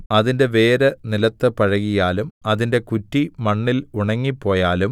അതിന്റെ വേര് നിലത്ത് പഴകിയാലും അതിന്റെ കുറ്റി മണ്ണിൽ ഉണങ്ങിപ്പോയാലും